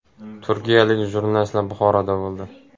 Turkiyalik jurnalistlar Buxoroda bo‘ldi.